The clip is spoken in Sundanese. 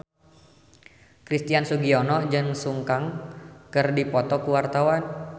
Christian Sugiono jeung Sun Kang keur dipoto ku wartawan